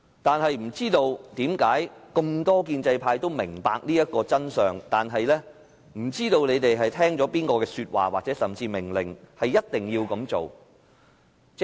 但是，這麼多建制派都明白這個道理，卻不知是聽了誰的說話，甚至命令，而一定要這樣做。